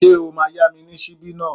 Ṣé o máa yá mi ní ṣíbí náà?